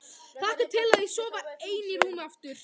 Hlakka til að sofa ein í rúmi aftur.